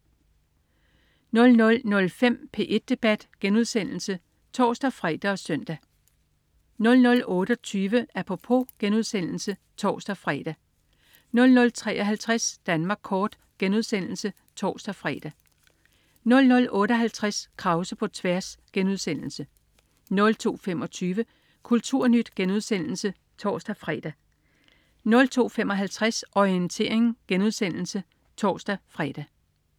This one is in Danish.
00.05 P1 debat* (tors-fre og søn) 00.28 Apropos* (tors-fre) 00.53 Danmark kort* (tors-fre) 00.58 Krause på tværs* 02.25 KulturNyt* (tors-fre) 02.55 Orientering* (tors-fre)